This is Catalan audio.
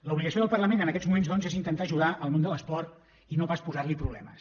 l’obligació del parlament en aquests moments doncs és intentar ajudar el món de l’esport i no pas posar hi problemes